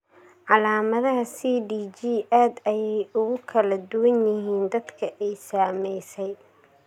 Calaamadaha CDG aad ayey ugu kala duwan yihiin dadka ay saameysay.